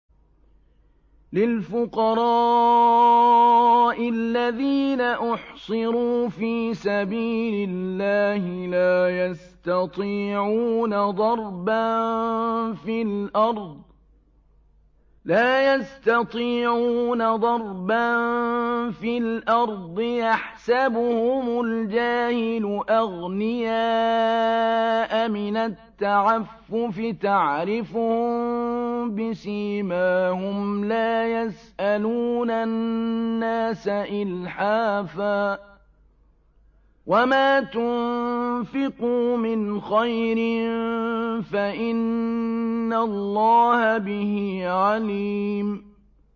لِلْفُقَرَاءِ الَّذِينَ أُحْصِرُوا فِي سَبِيلِ اللَّهِ لَا يَسْتَطِيعُونَ ضَرْبًا فِي الْأَرْضِ يَحْسَبُهُمُ الْجَاهِلُ أَغْنِيَاءَ مِنَ التَّعَفُّفِ تَعْرِفُهُم بِسِيمَاهُمْ لَا يَسْأَلُونَ النَّاسَ إِلْحَافًا ۗ وَمَا تُنفِقُوا مِنْ خَيْرٍ فَإِنَّ اللَّهَ بِهِ عَلِيمٌ